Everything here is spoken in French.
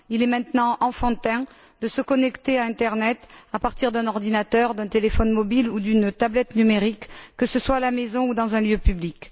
Il est maintenant enfantin de se connecter à Internet à partir d'un ordinateur, d'un téléphone mobile ou d'une tablette numérique, que ce soit à la maison ou dans un lieu public.